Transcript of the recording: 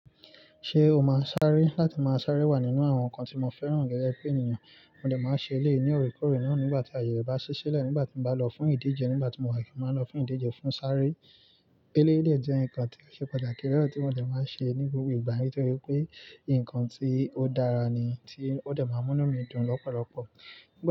Ṣé o máa sáré láti máa sáré wà nínú àwọn nǹkan tí mo fẹ́ràn gẹ́gẹ́ bi ènìyàn. Mo dẹ̀ máa ṣe eléèyi ni orekoore náà nígbà tí àyè bá ṣí sílẹ̀, nígbà tí mo bá lọ fún ìdíje, nígbà tí mo wà kí n máa lọ fún ìdíje fún sáré. Eleyi dẹ jẹ́ nǹkan tí ó ṣe pàtàkì rẹ́rọ̀ tí mo dẹ̀ máa ṣe ní gbogbo ìgbà nítorí pé nǹkan tí ó dára ni tí ó dẹ̀ máa mú mí dùn lọ́pọ̀lọ́pọ̀.